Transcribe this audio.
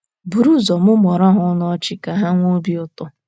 Buru ụzọ mụmụọrọ ha ọnụ ọchị ka ha nwee obi ụtọ.